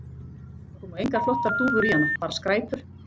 Það koma engar flottar dúfur í hana, bara skræpur